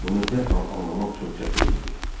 Bunu dərhal anlamaq çox çətin idi.